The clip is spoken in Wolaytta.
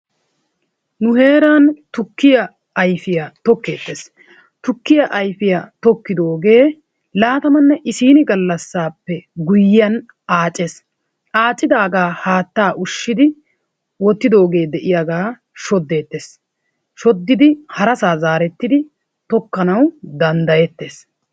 Nu heeran tukkiya ayfiyaa tokettees tukkiya ayfiyaa tokkidoogee laatamanne issinni galassappe guyiyan aaccees. Accidaagaa haattaa ushshidi wottidoogee de'iyaagaa shodettees. Shodidi harassaa zaarettidi tokkanawu dandayettees.